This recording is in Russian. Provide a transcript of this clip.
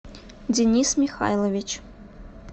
денис михайлович